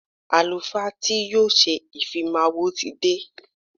Àlùfáà tí yóò ṣe ìfimáwo ti dé.